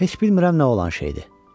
Heç bilmirəm nə olan şeydir.